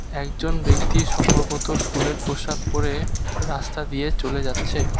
একজন ব্যক্তি সম্ভবত স্কুলের পোশাক পড়ে রাস্তা দিয়ে চলে যাচ্ছে।